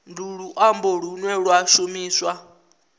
ndi luambo lune lwa shumiswa